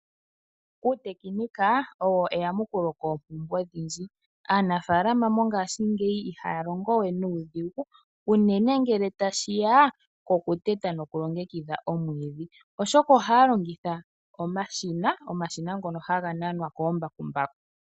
Uutekinika owo eyamukulo koompumbwe odhindji, aanafalama mongashingeyi ihaya longo we nuudhigu. Unene ngele tashi ya kokuteta nokulongekidha omwiidhi, oshoka ohaya longitha omashina ngono haga nanwa koombakumbaku.